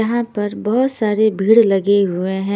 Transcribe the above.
यहाँ पर बहुत सारे भीड़ लगे हुए हैं।